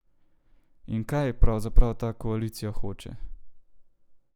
In kaj pravzaprav ta koalicija hoče?